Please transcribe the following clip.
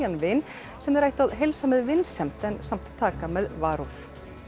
vin sem þeir ættu að heilsa með vinsemd en samt taka með varúð